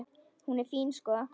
Hún er fín, sko.